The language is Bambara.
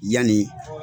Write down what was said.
Yanni